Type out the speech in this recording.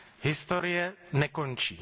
Historie nekončí.